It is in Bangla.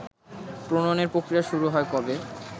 প্রনয়ণের প্রক্রিয়া শুরু হয় কবে